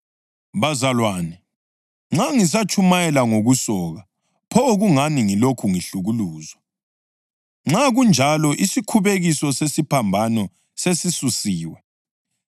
Bazalwane, nxa ngisatshumayela ngokusoka, pho kungani ngilokhu ngihlukuluzwa? Nxa kunjalo isikhubekiso sesiphambano sesisusiwe.